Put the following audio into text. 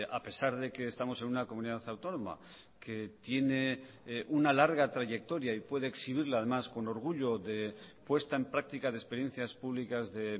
a pesar de que estamos en una comunidad autónoma que tiene una larga trayectoria y puede exhibirla además con orgullo de puesta en práctica de experiencias públicas de